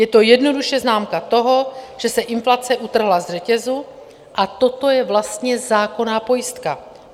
Je to jednoduše známka toho, že se inflace utrhla ze řetězu, a toto je vlastně zákonná pojistka.